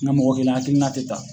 Nga mɔgɔ kelen akilina te ta